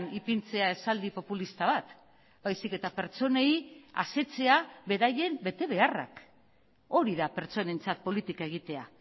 ipintzea esaldi populista bat baizik eta pertsonei asetzea beraien betebeharrak hori da pertsonentzat politika egitea